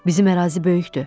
Bizim ərazi böyükdür.